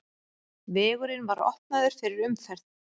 Vegurinn var opnaður fyrir umferð.